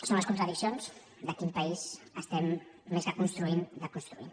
són les contradiccions de quin país estem més que construint desconstruint